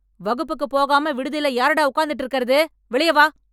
வகுப்புக்கு போகாம விடுதில யாருடா உக்காந்துட்டு இருக்கறது? வெளிய வா...